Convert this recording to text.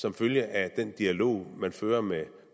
som følge af den dialog man fører med